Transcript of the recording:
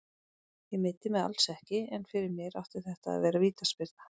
Ég meiddi mig alls ekki, en fyrir mér átti þetta að vera vítaspyrna.